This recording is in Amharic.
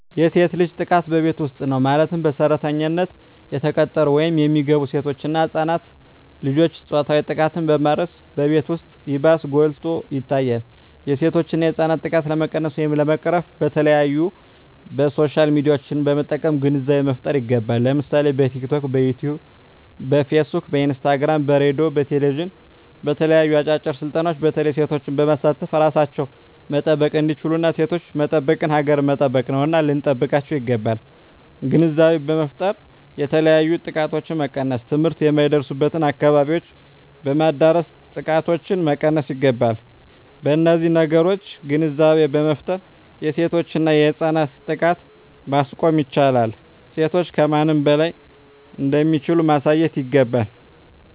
የሴት ልጅ ጥቃት በቤት ዉስጥ ነዉ ማለትም በሰራተኛነት የተቀጠሩ ወይም የሚገቡሴቶች እና ህፃናት ልጆችን ፆታዊ ጥቃትን በማድረስ በቤት ዉስጥ ይባስ ጎልቶ ይታያል የሴቶችና የህፃናት ጥቃት ለመቀነስ ወይም ለመቅረፍ በተለያዩ በሶሻል ሚድያዎችን በመጠቀም ግንዛቤ መፍጠር ይገባል ለምሳሌ በቲክቶክ በዮትዮብ በፊስ ቡክ በኢንስታግራም በሬድዮ በቴሌብዥን በተለያዩ አጫጭር ስልጠናዎች በተለይ ሴቶችን በማሳተፍ እራሳቸዉን መጠበቅ እንዲችሉና ሴቶችን መጠበቅ ሀገርን መጠበቅ ነዉና ልንጠብቃቸዉ ይገባል ግንዛቤ በመፍጠር የተለያዮ ጥቃቶችን መቀነስ ትምህርት የማይደርሱበትን አካባቢዎች በማዳረስ ጥቃቶችን መቀነስ ይገባል በነዚህ ነገሮች ግንዛቤ በመፍጠር የሴቶችና የህፃናትን ጥቃት ማስቆም ይቻላል ሴቶች ከማንም በላይ እንደሚችሉ ማሳየት ይገባል